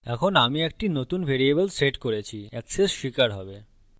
এখন আমি একটি নতুন ভ্যারিয়েবল set করেছি access স্বীকার হবে